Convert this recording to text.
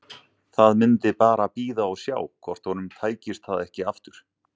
Það myndi bara bíða og sjá hvort honum tækist það ekki aftur.